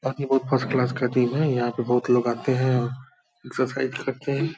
और ये बहुत फर्स्ट क्लास का है। यहाँ पे बहुत लोग आते हैं एक्सरसाइज करते हैं।